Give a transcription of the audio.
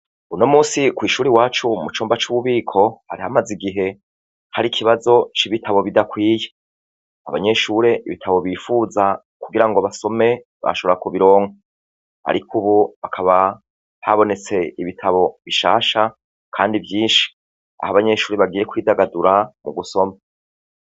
Uno munsi kw'ishuri iwacu mucumba c'ububiko, hari hamaze igihe hari ikibazo c'ibitabo bidakwiye. Abanyeshuri ibitabo bifuza kugira ngo basome bashobora kubironka. Ariko ubu hakaba habonetse ibitabo bishasha kandi vyinshi aho abanyeshuri bagiye kwidagadura mu gusoma.